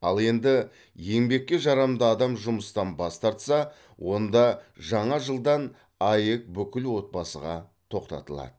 ал енді еңбекке жарамды адам жұмыстан бас тарса онда жаңа жылдан аәк бүкіл отбасыға тоқтатылады